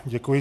Děkuji.